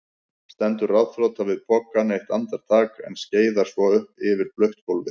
Stendur ráðþrota við pokann eitt andartak en skeiðar svo yfir blautt gólfið.